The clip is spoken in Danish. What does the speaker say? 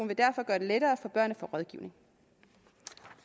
vil derfor gøre det lettere for børn at rådgivning